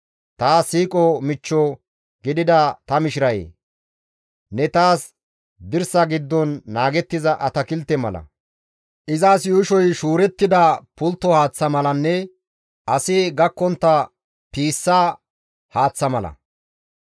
Taas siiqo michcho gidida ta mishirayee! Ne taas dirsa giddon naagettiza atakilte mala, izas yuushoy shuurettida pultto haaththa malanne asi gakkontta piissa haaththa mala.